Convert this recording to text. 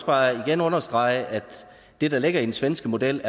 bare igen understrege at det der ligger i den svenske model